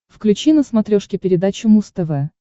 включи на смотрешке передачу муз тв